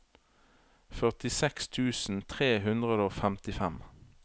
førtiseks tusen tre hundre og femtifem